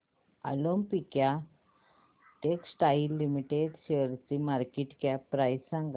Olympia textiles limited शेअरची market cap price सांगा